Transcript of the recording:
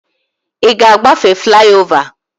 Ị ga agbafe fliova?